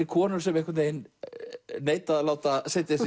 konur sem neita að láta setja